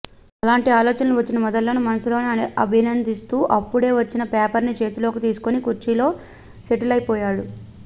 అలాంటి ఆలోచనలు వచ్చిన మెదళ్ళను మనసులోనే అభినందిస్తూ అప్పుడే వచ్చిన పేపర్ను చేతిలోకి తీసుకుని కుర్చీలో సెటిలయిపోయాను